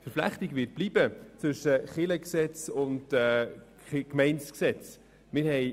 Die Verflechtung zwischen Kirchen- und Gemeindegesetz wird bestehen bleiben.